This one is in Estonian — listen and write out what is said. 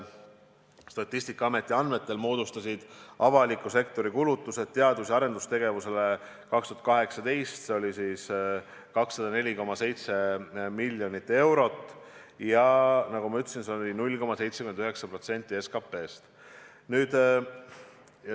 Statistikaameti andmetel moodustasid avaliku sektori kulutused teadus- ja arendustegevusele 2018. aastal 204,7 miljonit eurot ja, nagu ma ütlesin, see oli 0,79% SKT-st.